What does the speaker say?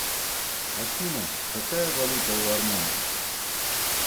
афина какая валюта у армян